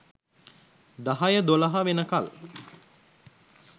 දහය දොළහ වෙනකල්